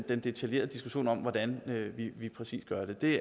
den detaljerede diskussion om hvordan vi præcis gør det